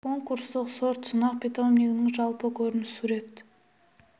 конкурстық сортсынақ питомнигінің жалпы көрінісі сурет